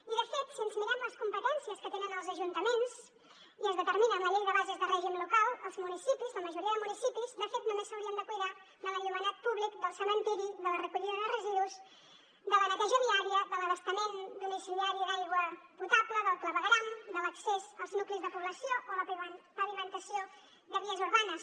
i de fet si ens mirem les competències que tenen els ajuntaments que es determinen a la llei de bases de règim local els municipis la majoria de municipis de fet només s’haurien de cuidar de l’enllumenat públic del cementiri de la recollida de residus de la neteja viària de l’abastament domiciliari d’aigua potable del clavegueram de l’accés als nuclis de població o la pavimentació de vies urbanes